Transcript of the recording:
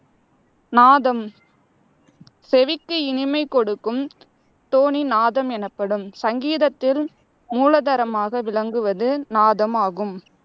நாதம் செவிக்கு இனிமை கொடுக்கும் தொனி நாதம் எனப்படும். சங்கீதத்தில் மூலதாரமாக விளங்குவது நாதம் ஆகும்.